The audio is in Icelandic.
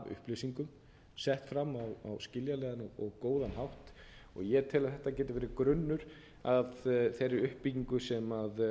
upplýsingum sett fram á skiljanlegan og góðan hátt og ég tel að þetta geti verið grunnur að þeirri uppbyggingu sem